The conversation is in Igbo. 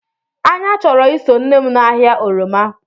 Anya choro iso nnem na ahia oroma.